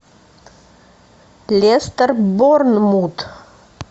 лестер борнмут